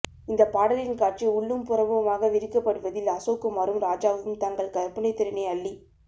இந்தப் பாடலின் காட்சி உள்ளும் புறமுமாக விரிக்கப்படுவதில் அசோக்குமாரும் ராஜாவும் தங்கள் கற்பனைத் திறனை அள்ளித்